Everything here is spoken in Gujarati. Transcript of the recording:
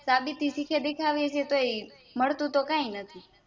સાબિતી દીખવી એ તોય મળતું તો કાય નથી